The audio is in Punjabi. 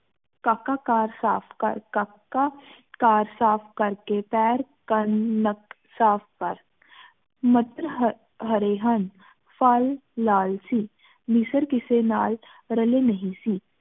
ਕਾਕਾ ਘਰ ਸਾਫ਼ ਕਰ ਕਾਕਾ ਘਰ ਸਾਫ਼ ਕਰ ਕੇ ਪੈਰ ਕੰਨ ਨੱਕ ਸਾਫ਼ ਕਰ ਮਟਰ ਹਰੇ ਹਨ ਫਲ ਲਾਲ ਸੀ ਨੀਸਰ ਕਿਸੇ ਨਾਲ ਰਲੈ ਨਹੀ ਸੀ